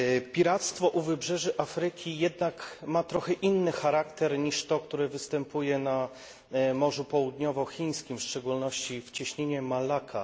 Piractwo u wybrzeży Afryki jednak ma trochę inny charakter niż to, które występuje na Morzu Południowochińskim, w szczególności w cieśninie Malakka.